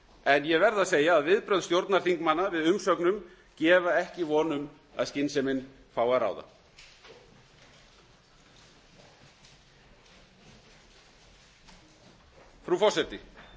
en ég verð að segja að viðbrögð stjórnarþingmanna við umsögnum gefa ekki von um að skynsemin fái að ráða frú forseti